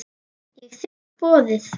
Ég þigg boðið.